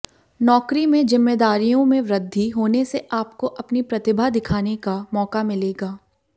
नौकरी में जिम्मेदारियों में वृद्धि होने से आपको अपनी प्रतिभा दिखाने का मौका मिलेगा